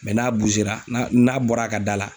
n'a n'a bɔra a ka da la.